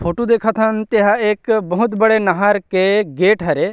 photo देखत हन तेहा बहुत बड़े एक नहर के गेट हरे--